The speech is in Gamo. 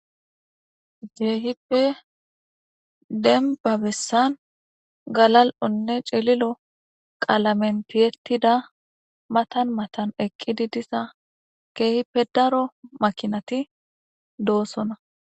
jehippe denbabessan galal'onne celilo qalamen tiyettida matan matan eqqidi diza keehippedaro makinati doossona